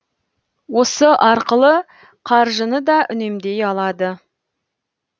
осы арқылы қаржыны да үнемдей алады